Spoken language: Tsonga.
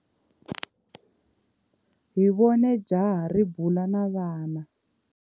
Hi vone jaha ri bula na vana.